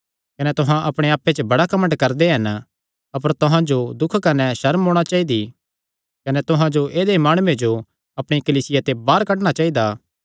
कने तुहां अपणे आप्पे च बड़ा घमंड करदे हन अपर तुहां जो दुख कने सर्म होणा चाइदी कने तुहां जो ऐदेय माणुये जो अपणिया कलीसिया ते बाहर कड्डणा चाइदा